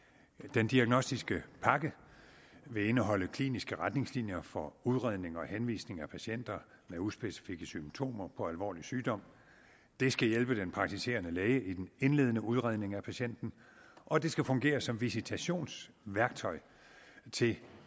den diagnostiske pakke vil indeholde kliniske retningslinjer for udredning og henvisning af patienter med uspecifikke symptomer på alvorlig sygdom det skal hjælpe den praktiserende læge i den indledende udredning af patienten og det skal fungere som visitationsværktøj til